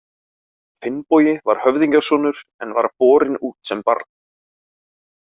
Finnbogi var höfðingjasonur en var borinn út sem barn.